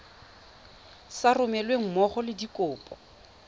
sa romelweng mmogo le dikopo